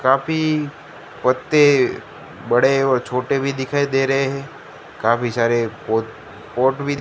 काफी पत्ते बड़े और छोटे भी दिखाई दे रहे हैं काफी सारे पोत पॉट भी--